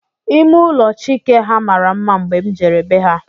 Ime ụlọ Chike ha mara mma mgbe m jere be ha